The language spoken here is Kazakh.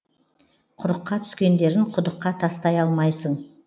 құрыққа түскендерін құдыққа тастай алмайсың